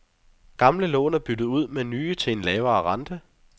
Gamle lån er byttet ud med nye til en lavere rente.